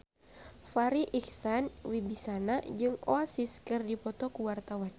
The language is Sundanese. Farri Icksan Wibisana jeung Oasis keur dipoto ku wartawan